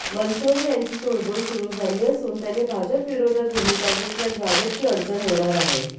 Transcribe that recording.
बनसोडे यांची चूळबुळ सुरू झाली असून त्यांनी भाजपविरोधात भूमिका घेतल्यास भाजपची अडचण होणार आहे